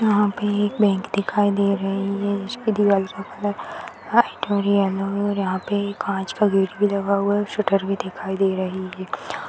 यहां पे एक बैंक दिखाई दे रही है जिसकी दीवार का कलर व्हाइट और येलो है और यहां कांच का गेट भी लगा हुआ है और शटर भी दिखाई दे रही है।